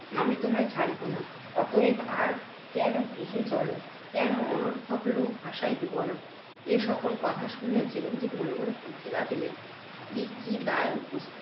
আমি তোমায় ছাড়িব না। অতএব আর কেন? গৃহে চলো। কেন অনর্থক লোক হাসাইবে বলো। এ সকল কথা শুনিয়া চিরঞ্জিত মনে মনে কহিতে লাগিলেন এ কি দায় উপস্থিত?